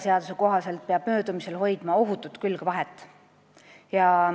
Seaduse kohaselt peab möödumisel hoidma ohutut külgvahet.